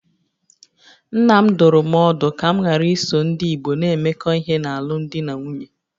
Nna m dụrụ m ọdụ ka m ghara iso ndị Igbo na-emekọ ihe n'alụmdi na nwunye